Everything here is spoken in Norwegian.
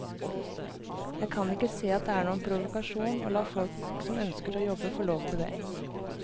Jeg kan ikke se at det er noen provokasjon å la folk som ønsker å jobbe få lov til det.